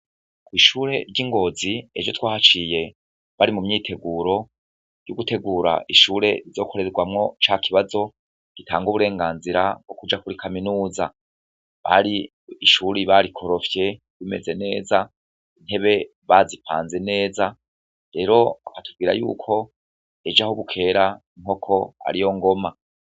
Ishure ry'i Ngozi, ejo twahaciye bari mu myiteguro yo gutegura ishure rizokorerwamwo ca kibazo gitanga uburenganzira bwo kuja kuri kaminuza, ishure bari barikorofye rimeze neza, intebe bazipanze neza, rero batubwira yuko ejo aho bukera inkoko ariyo ngoma.